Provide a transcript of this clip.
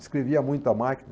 Escrevia muita máquina.